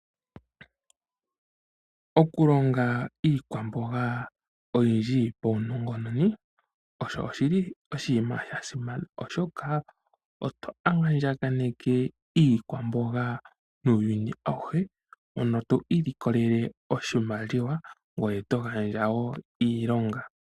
Okulonga iikwamboga oyindji paunongononi osho oshili oshinima shasimana, oshoka oto andjaganeke iikwamboga nuuyuni awuhe mono to ilikolele oshimaliwa, ngoye to gandja wo iilonga.